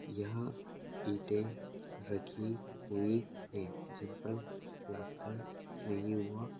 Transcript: यहाँ ईटे रखी हुई है जिन पर प्लास्टर नहीं हुआ --